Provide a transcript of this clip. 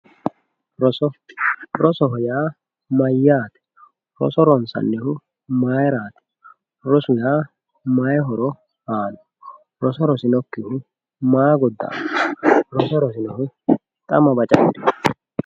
Roso, rosoho yaa mayyate, roso ronsanihu mayrati, rosu yaa mayi horo aanoho ,roso rosinokkihu maa goda'amano roso rosinohu xa baca.